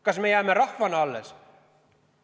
Kas me jääme rahvana alles?